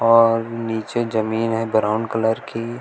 और नीचे जमीन है ब्राउन कलर की।